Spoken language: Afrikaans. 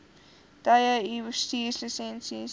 tye u bestuurslisensie